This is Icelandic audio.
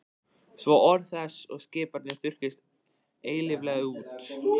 Svo orð þess og skipanir þurrkist eilíflega út.